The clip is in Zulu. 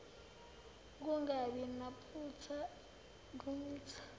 ukungabi naphutha kwemitha